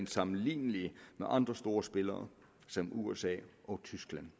sammenlignelige med andre store spillere som usa og tyskland